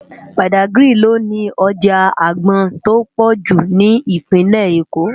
Bádágiri lò ni òjá ágbòn tó pòjú ni Ipinlè-Ékó